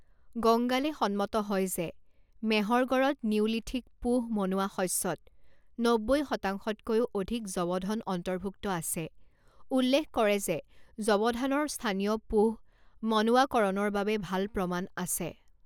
গংগালে সন্মত হয় যে মেহৰগড়ত নিওলিথিক পোহ মনোৱা শস্যত নব্বৈ শতাংশতকৈও অধিক যৱধন অন্তৰ্ভুক্ত আছে, উল্লেখ কৰে যে যৱধানৰ স্থানীয় পোহ মনোৱাকৰণৰ বাবে ভাল প্ৰমাণ আছে।